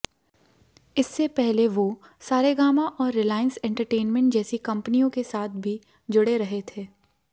इससे पहले वो सारेगामा और रिलांयस एंटरटेनमेंट जैसी कंपनियों के साथ भी जुड़े रहे थे